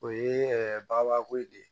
O ye baba ko ye